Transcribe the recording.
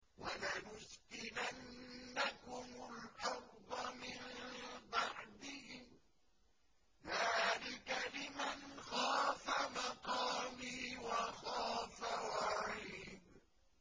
وَلَنُسْكِنَنَّكُمُ الْأَرْضَ مِن بَعْدِهِمْ ۚ ذَٰلِكَ لِمَنْ خَافَ مَقَامِي وَخَافَ وَعِيدِ